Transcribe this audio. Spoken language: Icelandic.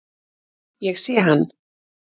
Ég sé hann.